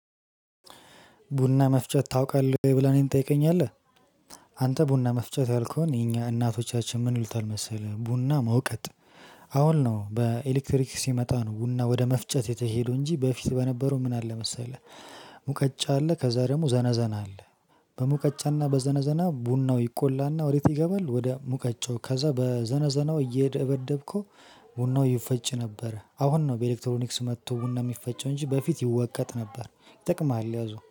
ቡና መፍጨት ታውቃለህ ወይ ብለህ እኔን ትጠይቀኛለህ? አንተ ቡና መፍጨት ያልከውን የኛ እናቶቻችን ምን ይሉታል መሰለህ ቡና መውቀጥ። አሁን ነው በኤሌክትሪክ ሲመጣ ነው ቡና ወደ መፍጨት የተሄዱ እንጂ በፊት በነበሩ ምን አለ መሰለህ? ሙቀጫ አለ ከዛ ደግሞ ዘነዘና አለ። በሙቀጫና በዘነዘና ቡናው ይቆላና ወዴት ይገባል ወደ ሙቀጫው ከዛ በዘነዘናው እየደበደብከው ቡናው ይፈጭ ነበር። አሁን ነው በኤሌክትሮኒክስ መጥቶ ቡና የሚፈጨው እንጂ በፊት ይወቀጥ ነበር። ይጠቅምሃል ያዘው